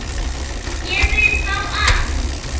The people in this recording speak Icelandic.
Ég vil fá allt.